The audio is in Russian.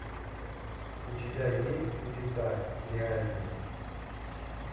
у тебя есть небеса реальные